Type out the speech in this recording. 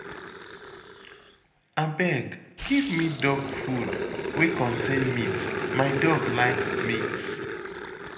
Abeg give me dog food wey contain meat, my dog like meat